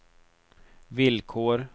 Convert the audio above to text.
villkor